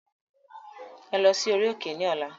Ẹ lọ sí orí òkè ní ọ̀la.